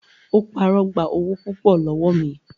Ó parọ́ gba owó púpọ̀ lọ́wọ́ mi.